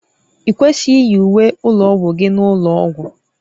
I kwesịghị iyi uwe ụlọ ọgwụ gị n'ụlọ ọgwụ